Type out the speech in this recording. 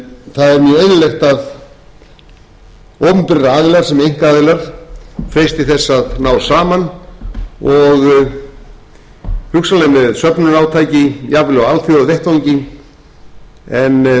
mjög eðlilegt að opinberir aðilar sem einkaaðilar freisti þess að ná saman og hugsanlega með söfnunarátaki jafnvel á alþjóðavettvangi